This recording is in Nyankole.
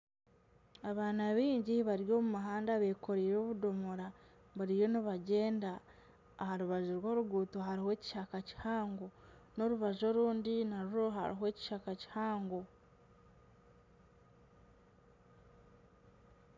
Abaana baingi bari omu muhanda bekoreire obudoomora bariyo nibagyenda aha rubaju rw'oruguuto hariho ekishaka kihango n'orubaju orundi narwo hariho ekishaka kihango.